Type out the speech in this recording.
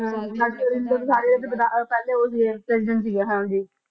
ਨਾਲੇ ਰਾਜਿੰਦਰ ਪ੍ਰਸਾਦ ਜੀ ਤਾ ਪਹਿਲੇ ਉਹ ਸੀਗੇ president ਸੀਗੇ ਹਮ